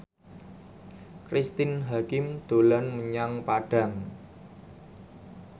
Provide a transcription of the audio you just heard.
Cristine Hakim dolan menyang Padang